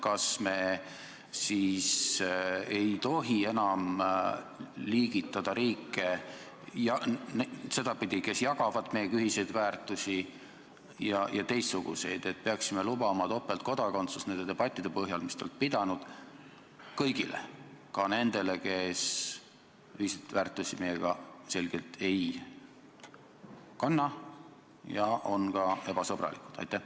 Kas me siis ei tohi enam liigitada riike sedasi, et on neid, kes jagavad meiega ühiseid väärtusi, ja teistsuguseid, et peaksime lubama topeltkodakondsuse nende debattide põhjal, mis te olete pidanud, kõigile – ka nendele, kes selgelt meiega ühiseid väärtusi ei kanna ja on ka ebasõbralikud?